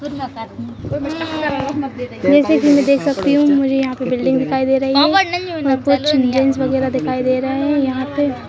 जैसे कि मैं देख सकती हूँ मुझे यहाँ पे बिल्डिंग दिखाई दे रही है और कुछ चिल्ड्रेनस वगैरह दिखाई दे रहे हैं यहाँ पे।